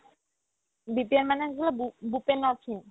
BPN মানে আছিলে বেও ~ bew-pre-nor-feen